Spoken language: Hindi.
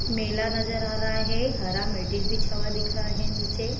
मेला नजर आ रहा है हरा मैट्रेस बिछा हुआ दिख रहा है नीचे।